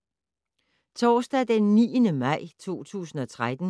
Torsdag d. 9. maj 2013